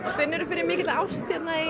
finnuru fyrir mikilli ást hérna í